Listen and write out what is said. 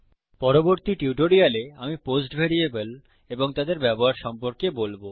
পরবর্তী টিউটোরিয়ালে আমি পোস্ট ভ্যারিয়েবল এবং তাদের ব্যবহার সম্পর্কে বলবো